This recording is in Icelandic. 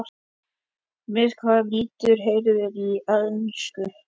Með hvaða liði heldurðu í ensku?